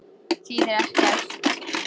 Þýðir ekkert.